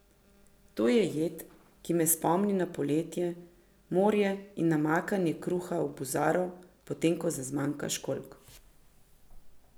To je jed, ki me spomni na poletje, morje in namakanje kruha v buzaro, potem ko zmanjka školjk.